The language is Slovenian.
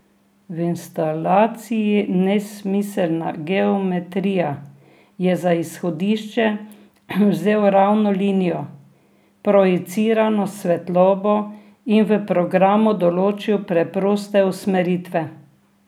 V instalaciji Nesmiselna geometrija je za izhodišče vzel ravno linijo, projicirano svetlobo in v programu določil preproste usmeritve.